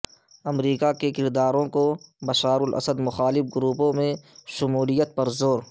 امریکہ کا کردوں کو بشار الاسد مخالف گروپوں میں شمولیت پر زور